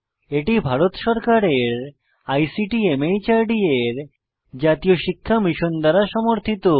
এটি ভারত সরকারের আইসিটি মাহর্দ এর জাতীয় শিক্ষা মিশন দ্বারা সমর্থিত